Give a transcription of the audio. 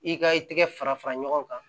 I ka i tɛgɛ fara fara ɲɔgɔn kan